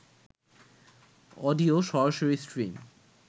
audio সরাসরি stream